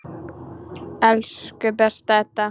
Elsku besta Edda.